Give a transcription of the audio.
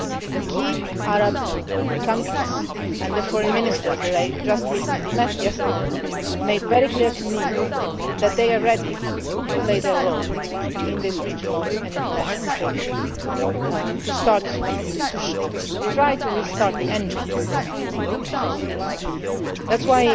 days. The key Arab countries, and the Foreign Ministers that I met just yesterday, have made very clear to me that they are ready to play their role in this regional and international framework to try to restart the engine of the process. That